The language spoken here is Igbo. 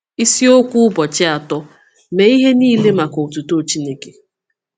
Isiokwu Ụbọchị Atọ: Mee Ihe Nile Maka Otuto Chineke